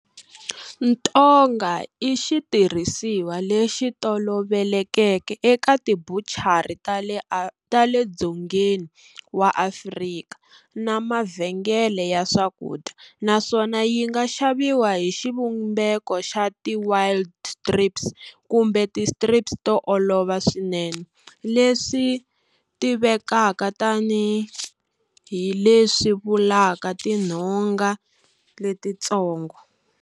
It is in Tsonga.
Ntonga i xitirhisiwa lexi tolovelekeke eka tibuchari ta le Dzongeni wa Afrika na mavhengele ya swakudya, naswona yinga xaviwa hi xivumbeko xa ti wide strips kumbe ti strips to olova swinene, leswi tivekaka tani hi, leswi vulaka tinhonga letitsongo.